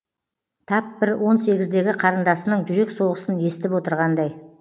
тап бір он сегіздегі қарындасының жүрек соғысын естіп отырғандай